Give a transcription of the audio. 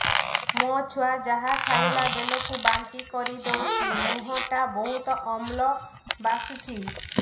ମୋ ଛୁଆ ଯାହା ଖାଇଲା ବେଳକୁ ବାନ୍ତି କରିଦଉଛି ମୁହଁ ଟା ବହୁତ ଅମ୍ଳ ବାସୁଛି